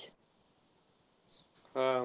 हा.